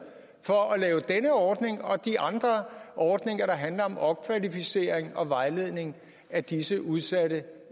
for at lave denne ordning og de andre ordninger der handler om opkvalificering og vejledning af disse udsatte